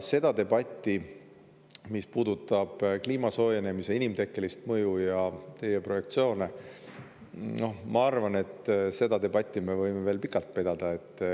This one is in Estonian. Seda debatti, mis puudutab kliimasoojenemise inimtekkelist mõju ja teie projektsioone, ma arvan, me võime veel pikalt pidada.